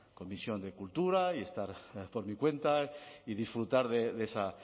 comisión de cultura y estar por mi cuenta y disfrutar de esa